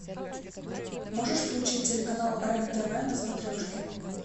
можешь включить телеканал рен тв на смотрешке